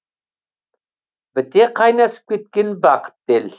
біте қайнасып кеткен бақытты ел